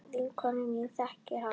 Vinkona mín þekkir hann.